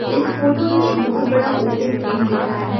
इस फोटो में एक बहुत बड़ा ओपन फील्ड दिख रहा है।